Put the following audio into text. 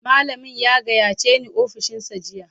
Malamin ya gayyace ni ofishinsa jiya